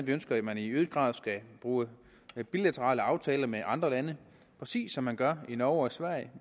vi ønsker at man i øget grad skal bruge bilaterale aftaler med andre lande præcis som man gør i norge og sverige